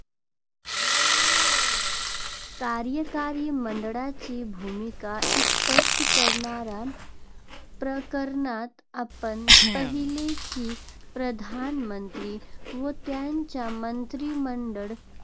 कार्यकारी मंडळाची भूमिका स्पष्ट करणाऱ्या प्रकरणात आपण पाहिले, की प्रधानमंत्री व त्यांचे मंत्रिमंडळ